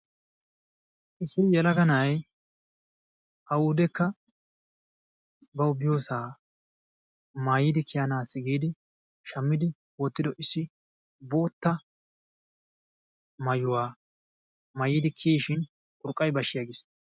issi yelagaa naa'ay awudekka baw biyyoosa maayyidi kiyyanassi giidi shammidi wottido issi bootta maayyuwa maayyidi kiyyishin urqqay bashi aggiis.